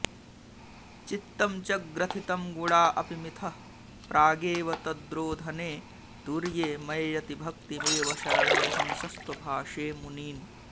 चित्तं च ग्रथितं गुणा अपि मिथः प्रगेव तद्रोधने तुर्ये मय्यतिभक्तिमेव शरणं हंसस्त्वभाषे मुनीन्